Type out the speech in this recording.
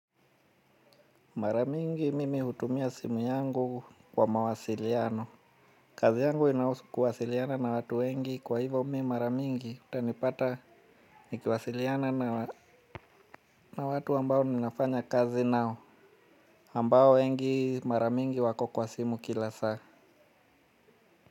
Mara mingi mimi hutumia simu yangu kwa mawasiliano. Kazi yangu inahusu kuwasiliana na watu wengi kwa hivyo mimi maramingi. Utanipata nikiwasiliana na watu ambao ninafanya kazi nao. Ambao wengi maramingi wako kwa simu kila saa.